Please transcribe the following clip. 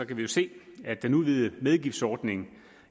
kan vi se at den udvidede medgiftsordning